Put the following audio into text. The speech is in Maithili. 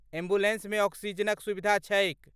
एम्बुलेन्समे ऑक्सीजनक सुविधा छैक।